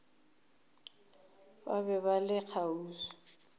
ba be ba le kgauswi